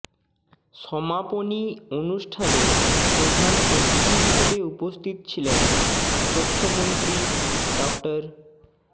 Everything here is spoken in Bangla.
সমাপনী অনুষ্ঠানে প্রধান অতিথি হিসেবে উপস্থিত ছিলেন তথ্যমন্ত্রী ড